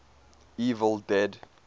evil dead